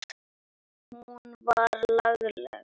Hún var lagleg.